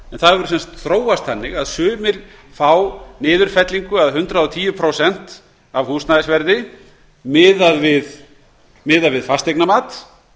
það hefur þróast á þann veg að sumir fá niðurfellingu eða hundrað og tíu prósent af húsnæðisverði miðað við fasteignamat